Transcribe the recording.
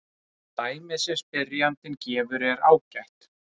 Dæmið sem spyrjandinn gefur er ágætt.